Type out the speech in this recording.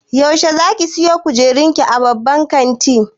Yaushe zakije siyo kujerun ki a babban kantin.